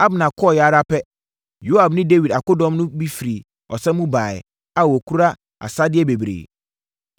Abner kɔeɛ ara pɛ, Yoab ne Dawid akodɔm no bi firi ɔsa mu baeɛ a wɔkura asadeɛ bebree.